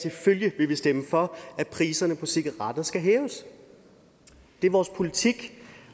selvfølgelig vil vi stemme for at priserne på cigaretter skal hæves det er vores politik